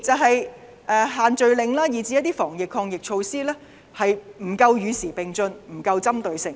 第二，限聚令以至一些防疫抗疫措施，不能與時並進及針對性不足。